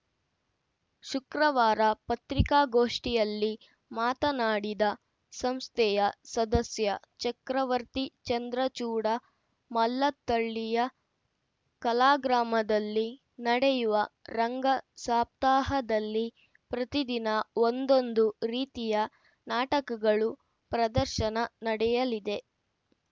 ಶುಕ್ರವಾರ ಪತ್ರಿಕಾಗೋಷ್ಠಿಯಲ್ಲಿ ಮಾತನಾಡಿದ ಸಂಸ್ಥೆಯ ಸದಸ್ಯ ಚಕ್ರವರ್ತಿ ಚಂದ್ರಚೂಡ ಮಲ್ಲತ್ತಳ್ಳಿಯ ಕಲಾಗ್ರಾಮದಲ್ಲಿ ನಡೆಯುವ ರಂಗ ಸಾಪ್ತಾಹದಲ್ಲಿ ಪ್ರತಿದಿನ ಒಂದೊಂದು ರೀತಿಯ ನಾಟಕಗಳು ಪ್ರದರ್ಶನ ನಡೆಯಲಿದೆ